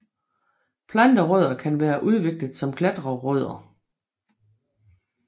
Planterødder kan være udviklet som klatrerødder